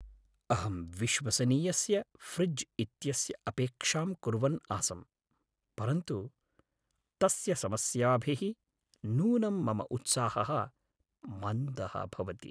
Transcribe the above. अहं विश्वसनीयस्य फ़्रिज् इत्यस्य अपेक्षां कुर्वन् आसम्, परन्तु तस्य समस्याभिः नूनं मम उत्साहः मन्दः भवति।